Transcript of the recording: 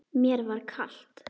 Mér var kalt.